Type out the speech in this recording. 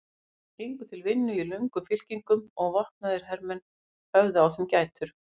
Þeir gengu til vinnu í löngum fylkingum og vopnaðir hermenn höfðu á þeim gætur.